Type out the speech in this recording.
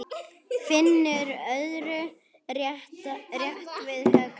Finnur örðu rétt við hökuna.